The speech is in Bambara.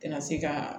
Kana se ka